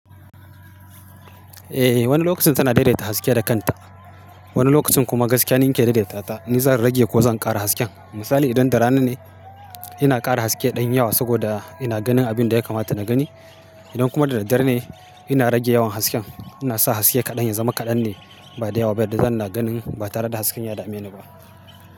Eh, wani lokacin tana daidaita haske da kanta. Wani lokacin kuma gaskiya ni ni ke daidaitata. Ni zan rage ko zan ƙara hasken. Misali idan da rana ne, ina ƙara haske ɗan yawa saboda ina ganin abin da ya kamata na gani. Idan kuma da daddare ne, ina rage yawan hasken. Ina sa haske kaɗan ya zama kaɗan ne, ba da yawa ba, da zan ina ganin ba tare da hasken ya da meni ba.